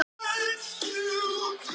Kvikmyndir bíóhúsa heim í stofu